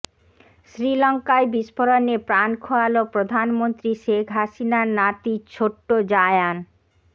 শ্রীলঙ্কায় বিস্ফোরণে প্রাণ খোয়াল প্রধানমন্ত্রী শেখ হাসিনার নাতি ছোট্ট জায়ান